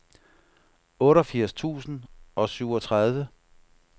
otteogfirs tusind og syvogtredive